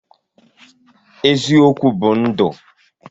Eziokwu bụ ndụ.